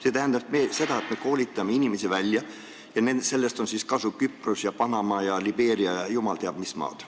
See tähendab seda, et me koolitame inimesi välja, millest on siis kasu Küprosel, Panamal, Libeerial ja jumal teab, mis maadel.